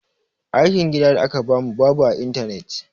Aikin gida da aka ba mu babu a intanet.